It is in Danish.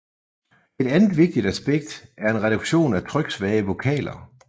Et andet vigtigt aspekt er en reduktion af tryksvage vokaler